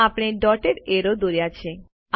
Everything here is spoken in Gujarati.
આપણે ડોટેડ એરો દોર્યા છે